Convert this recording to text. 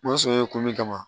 Ma sɔn ye kun min kama